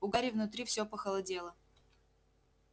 у гарри внутри всё похолодело